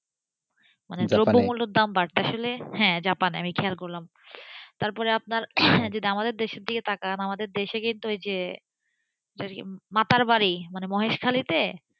মানে দ্রব্যমূল্যের দাম বাড়ছে আসলে জাপানে আমি খেয়াল করলামতারপর আপনার আমাদের দেশের দিকে যদি তাকান আমাদের দেশে কিন্তু ঐযে মাতারবাড়ি মানে মহেশখালীতে,